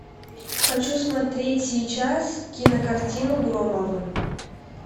хочу смотреть сейчас кинокартину громовы